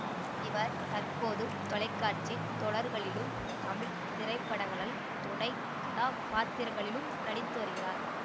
இவர் தற்போது தொலைக்காட்சி தொடர்களிலும் தமிழ் திரைப்படங்களில் துணை கதாப்பாத்திரங்களிலும் நடித்து வருகிறார்